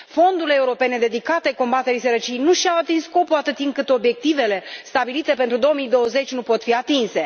Fondurile europene dedicate combaterii sărăciei nu și au atins scopul, atâta timp cât obiectivele stabilite pentru 2020 nu pot fi atinse.